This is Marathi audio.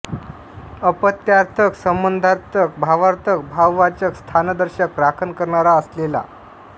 अपत्यार्थक संबधार्थक भावार्थक भाववाचक स्थानदर्शक राखण करणारा असलेला